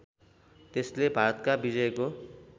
त्यसले भारतका विजयको